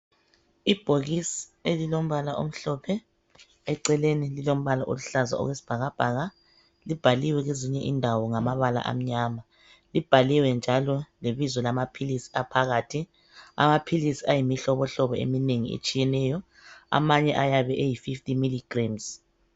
Obhokisi elilombala omhlophe eceleni lilombala olihlaza okwesibhakabhaka libhaliwe kwezinye indawo ngamabala amnyama libhaliwe njalo lebizo lamapills aphakathi amapills ayimihlobohlobo etshiyeneyo amanye ayabe eyi50mg